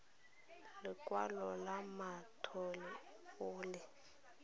lekwalo la mothale o le